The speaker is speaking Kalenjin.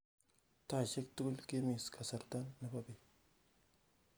taisiek tugul kimis kasarta nebo beet